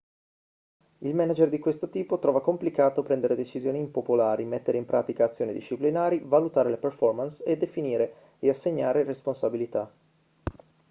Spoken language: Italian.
il manager di questo tipo trova complicato prendere decisioni impopolari mettere in pratica azioni disciplinari valutare le performance definire e assegnare responsabilità